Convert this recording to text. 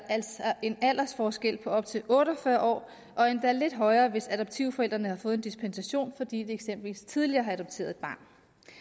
altså en aldersforskel på op til otte og fyrre år og endda lidt højere hvis adoptivforældrene har fået en dispensation fordi de eksempelvis tidligere har adopteret et barn